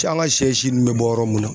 Cɛ an ka shɛ si nun bɛ bɔ yɔrɔ mun na.